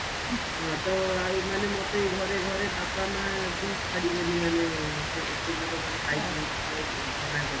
ହଁ ତ ଆଉ ମାନେ ମୋତେ ଘରେ ଘରେ ବାପା ମାଆ ବି ଛାଡିବେନି ମାନେ ଏତେ ଦୂର ମାନେ bike ନେଇକି ଯିବାକୁ ମନା କରିବେ